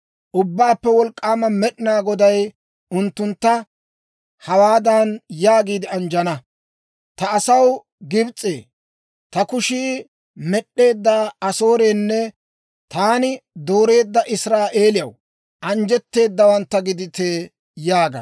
Ubbaappe Wolk'k'aama Med'inaa Goday unttuntta hawaadan yaagiide anjjana; «Ta asaw Gibs'ee, ta kushii med'd'eedda Asoorenne taani dooreedda Israa'eeliyaw anjjetteedawantta gidite» yaagana.